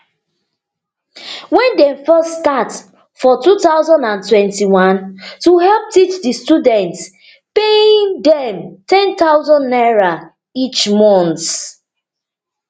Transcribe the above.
wen dem first start for two thousand and twenty-one to help teach di students paying dem ten thousand naira each month